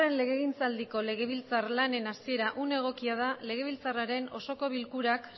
legegintzaldiko legebiltzar lanen hasiera une egokia da legebiltzarraren osoko bilkurak